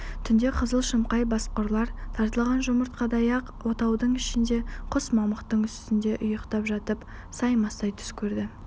түнде қызыл-шымқай басқұрлар тартылған жұмыртқадай ақ отаудың ішінде құс мамықтың үстінде ұйықтап жатып саймасай түс көрді